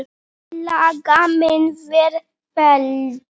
Tillaga mín var felld.